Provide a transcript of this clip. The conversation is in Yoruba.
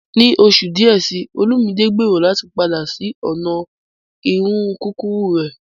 Ní oṣù díẹ̀, Olumide gbèrò láti padà sí ọ̀nà irun kúkúrú rẹ̀.